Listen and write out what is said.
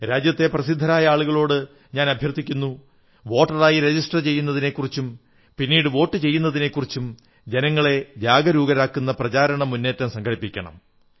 രാജ്യത്തെ പ്രശസ്തരായ വ്യക്തികളോട് അഭ്യർഥിക്കുന്നു വോട്ടറായി രജിസ്റ്റർ ചെയ്യുന്നതിനെക്കുറിച്ചും പിന്നീട് വോട്ടു ചെയ്യുന്നതിനെക്കുറിച്ചും ജനങ്ങളെ ജാഗരൂകരാക്കുന്ന പ്രചാരണ മുന്നേറ്റം സംഘടിപ്പിക്കണം